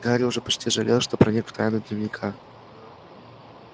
гарри уже почти жалел что проник в тайну дневника